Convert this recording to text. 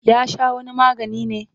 Ya sha wani magani ne?